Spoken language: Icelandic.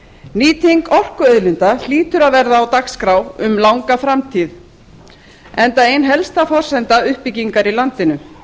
nýting orkuauðlinda hlýtur að verða á dagskrá um langa framtíð enda ein helsta forsenda uppbyggingar í landinu